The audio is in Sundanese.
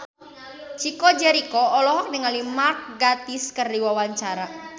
Chico Jericho olohok ningali Mark Gatiss keur diwawancara